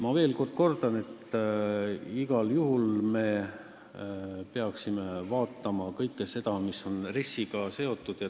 Ma veel kord kordan, et me igal juhul peaksime üle vaatama kõik selle, mis on RES-iga seotud.